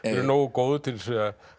nógu góður til að